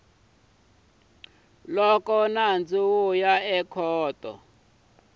loko nandzu wu ya ekhoto